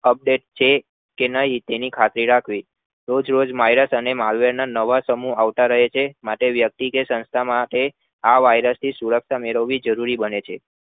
Update છે કે નહિ તેની ખાતરી રાખ્વીં તોજ marvel ના સમૂહ આવતા રહે છે અને વ્યક્તિ કે સંસ્થા માં આ virus સુરક્ષા રાખવી જરૂરી બને છે